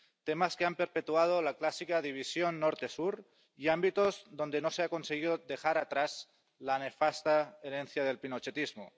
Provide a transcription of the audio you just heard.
Temas que han perpetuado la clásica división norte sur y ámbitos donde no se ha conseguido dejar atrás la nefasta herencia del pinochetismo.